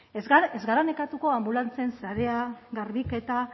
ez gara ez gara nekatuko anbulantzien sarea garbiketa